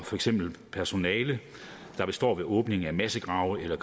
for eksempel personale der står ved åbningen af massegrave eller